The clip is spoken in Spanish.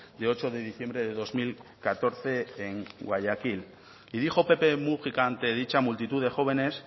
de ocho de diciembre de dos mil catorce en guayaquil y dijo pepe múgica ante dicha multitud de jóvenes